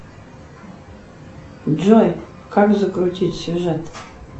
джой как закрутить сюжет